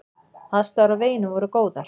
Aðstæður á veginum voru góðar.